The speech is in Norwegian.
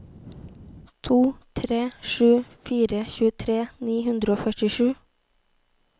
to tre sju fire tjuetre ni hundre og førtisju